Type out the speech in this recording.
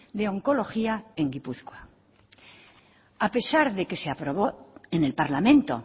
de oncología en gipuzkoa a pesar de que se aprobó en el parlamento